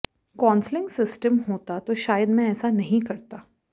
counselling system होता तो शायद मैं ऐसा नहीं करता